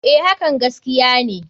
A.hakan gaskiya ne.